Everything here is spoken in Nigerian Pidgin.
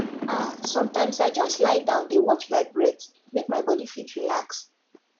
ah sometimes i just lie down dey watch my breath make my body fit relax